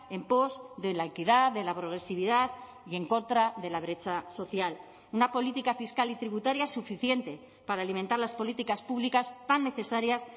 en pos de la equidad de la progresividad y en contra de la brecha social una política fiscal y tributaria suficiente para alimentar las políticas públicas tan necesarias